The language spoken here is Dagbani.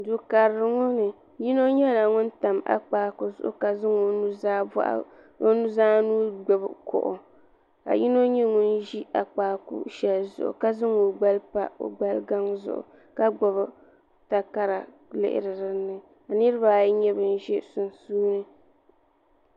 du karili ŋɔ ni yino nyɛla ŋun tam akpaaku zuɣu ka zaŋ o nuzaa nuu gbubi kuɣu ka yino nyɛ ŋun ʒi akpaaku shɛli zuɣu ka zaŋ o gbali pa o gbali gaŋ zuɣu ka gbubi takara lihiri dinni ka niraba ayi nyɛ bin ʒɛ sunsuuni